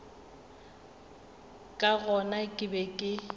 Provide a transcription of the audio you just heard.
ka gona ke be ke